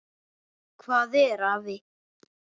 Hvað er afi?